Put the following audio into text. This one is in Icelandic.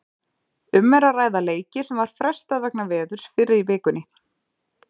Um er að ræða leiki sem var frestað vegna veðurs fyrr í vikunni.